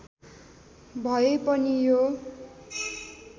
भए पनि यो